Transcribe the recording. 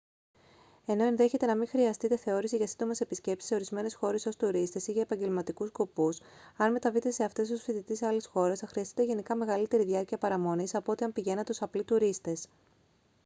ενώ ενδέχεται να μην χρειαστείτε θεώρηση για σύντομες επισκέψεις σε ορισμένες χώρες ως τουρίστες ή για επαγγελματικούς σκοπούς αν μεταβείτε σε αυτές ως φοιτητής άλλης χώρας θα χρειαστείτε γενικά μεγαλύτερη διάρκεια παραμονής από ό,τι αν πηγαίνατε ως απλοί τουρίστες